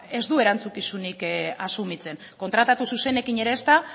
ez du erantzukizunik asumitzen kontrata zuzenekin ere ezta